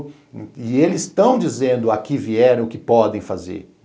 E eles estão dizendo, ao que vieram, o que podem fazer.